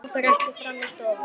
Langar ekki fram í stofu.